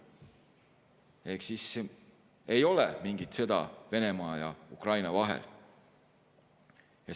Ehk siis ei ole mingit sõda Venemaa ja Ukraina vahel.